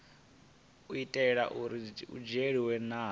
itela uri hu dzhielwe nha